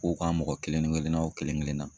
K'o ka mɔgɔ kelen kelennan o kelen kelennan.